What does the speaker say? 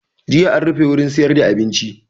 Jiya an rufe wurin siyar da abinci